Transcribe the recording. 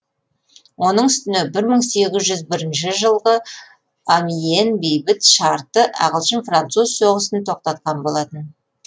оның үстіне бір мың сегіз жүз бірінші жылғы амьен бейбіт шарты ағылшын француз соғысын тоқтатқан болатын